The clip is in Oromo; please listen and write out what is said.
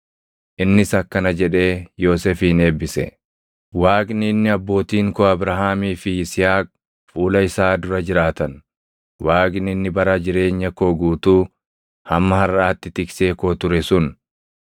Innis akkana jedhee Yoosefin eebbise; “Waaqni inni abbootiin koo Abrahaamii fi Yisihaaq fuula isaa dura jiraatan, Waaqni inni bara jireenya koo guutuu hamma harʼaatti tiksee koo ture sun,